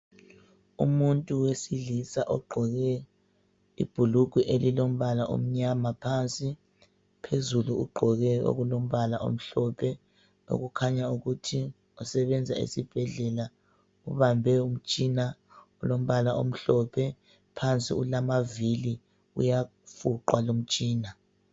Umuntu wesilisa ogqoke ibhulugwe elilombala omnyama phansi, phezulu ugqoke okulombala omhlophe okukhanya ukuthi usebenza esibhedlela. Ubambe umtshina olombala omhlophe, phansi ulamavili uyafuqwa lumtshina.